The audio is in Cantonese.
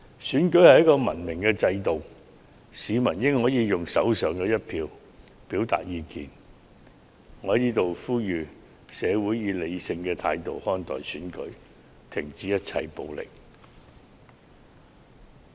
選舉是一種文明的制度，市民理應可用手上的一票表達意見，讓我在此呼籲社會各界以理性態度看待選舉，停止一切暴力。